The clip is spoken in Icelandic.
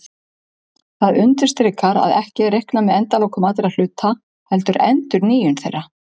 Það undirstrikar að ekki er reiknað með endalokum allra hluta heldur endurnýjun þeirra.